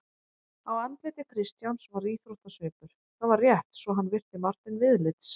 Á andliti Christians var þóttasvipur: það var rétt svo hann virti Martein viðlits.